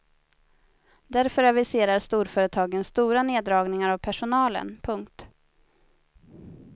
Därför aviserar storföretagen stora neddragningar av personalen. punkt